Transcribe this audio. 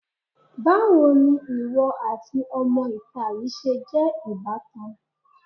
Báwo ni ìwọ àti ọmọ-ìta yìí ṣe jẹ́ ìbátan?